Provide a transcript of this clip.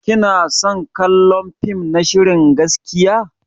Kina son kallon fim na shirin gaskiya?